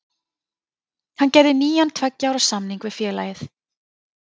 Hann gerði nýjan tveggja ára samning við félagið.